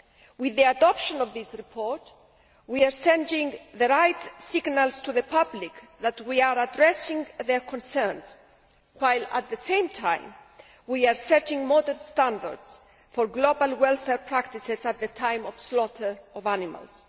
With the adoption of this report, we are sending the right signals to the public that we are addressing their concerns while, at the same time, we are setting modern standards for global welfare practices at the time of slaughter of animals.